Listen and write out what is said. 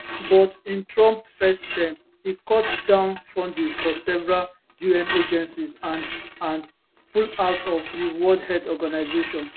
but in trump first term e cut down funding for several un agencies and and pull out of di world health organisation